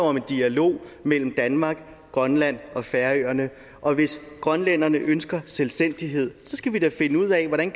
om dialog mellem danmark grønland og færøerne og hvis grønlænderne ønsker selvstændighed så skal vi da finde ud af hvordan